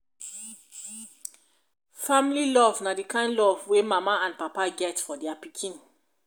family love na de kind love wey mama and papa get for dia pikin